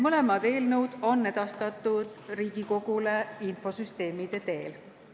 Mõlemad eelnõud on edastatud Riigikogule infosüsteemide teel.